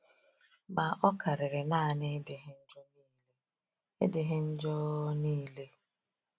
Ma, ọ karịrị naanị ịdịghị njọ niile. ịdịghị njọ niile.